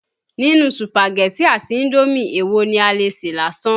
Nínú Sùpàgẹ̀tì àti indómì èwo ni a lè sè lásán?